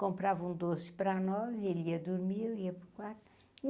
comprava um doce para nós, e ele ia dormir, e eu ia para o quarto.